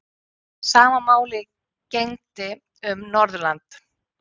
Sama máli gegndi um Norðurland.